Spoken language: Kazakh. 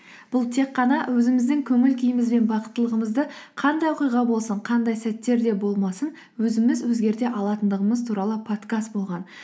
бұл тек қана өзіміздің көңіл күйіміз бен бақыттылығымызды қандай оқиға болсын қандай сәттерде болмасын өзіміз өзгерте алатындығымыз туралы подкаст болған